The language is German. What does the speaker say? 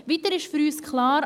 Weiter ist für uns klar: